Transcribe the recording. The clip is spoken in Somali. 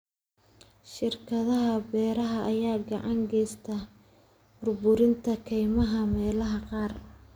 Shirkadaha beeraha ayaa gacan ka geysta burburinta kaymaha meelaha qaar.